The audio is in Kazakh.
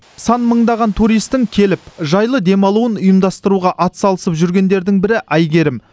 сан мыңдаған туристтің келіп жайлы демалуын ұйымдастыруға атсалысып жүргендердің бірі әйгерім